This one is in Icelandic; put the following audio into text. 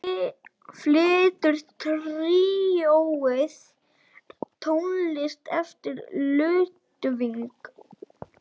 Flytur tríóið tónlist eftir Ludvig.